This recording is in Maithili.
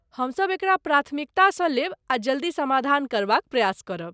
हमसभ एकरा प्राथमिकतासँ लेब आ जल्दी समाधान करबाक प्रयास करब।